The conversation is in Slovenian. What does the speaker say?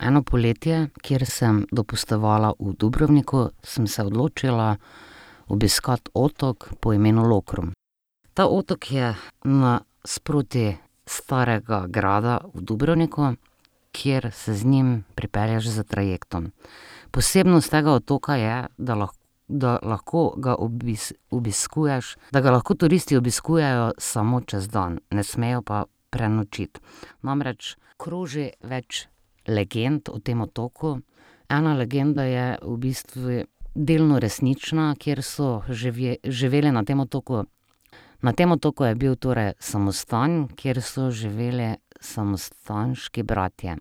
Eno poletje, kjer sem dopustovala v Dubrovniku, sem se odločila obiskati otok po imenu Lokrum. Ta otok je nasproti starega grada v Dubrovniku, kjer se z njim pripelješ s trajektom. Posebnost tega otoka je, da da lahko ga obiskuješ, da ga lahko turisti obiskujejo samo čez dan, ne smejo pa prenočiti. Namreč kroži več legend o tem otoku. Ena legenda je v bistvu delno resnična, kjer so živeli na tem otoku, na tem otoku je bil torej samostan, kjer so živeli samostanski bratje.